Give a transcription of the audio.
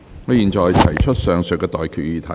我現在向各位提出上述待決議題。